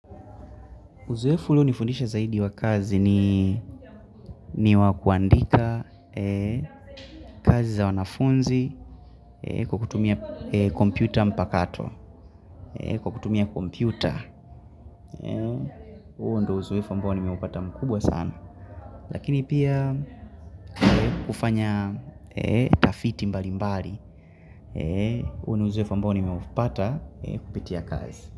Uzoefu ulio nifundisha zaidi wa kazi ni wakuandika kazi za wanafunzi kwa kutumia kompyuta mpakato, kwa kutumia kompyuta. Huo ndo uzoefu ambao ni meupata mkubwa sana. Lakini pia kufanya tafiti mbali mbali, huo ni uzoefu ambao ni meupata kupitia kazi.